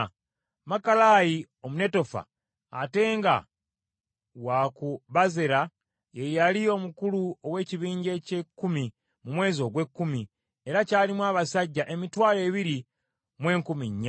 Makalayi Omunetofa, ate nga wa ku Bazera ye yali omukulu ow’ekibinja eky’ekkumi mu mwezi ogw’ekkumi, era kyalimu abasajja emitwalo ebiri mu enkumi nnya.